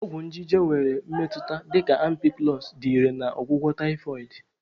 Ọgwụ nje nje nwere mmetụta dị ka Ampiclox dị irè na ọgwụgwọ Typhoid.